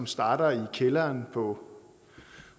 starte i kælderen på